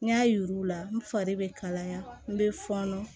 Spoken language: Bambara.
N y'a yir'u la n fari bɛ kalaya n bɛ fɔnɔ